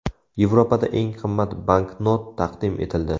Yevropada eng qimmat banknot taqdim etildi.